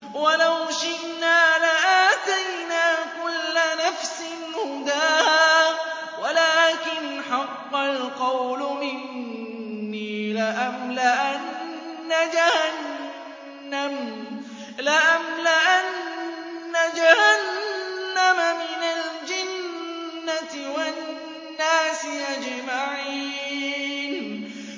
وَلَوْ شِئْنَا لَآتَيْنَا كُلَّ نَفْسٍ هُدَاهَا وَلَٰكِنْ حَقَّ الْقَوْلُ مِنِّي لَأَمْلَأَنَّ جَهَنَّمَ مِنَ الْجِنَّةِ وَالنَّاسِ أَجْمَعِينَ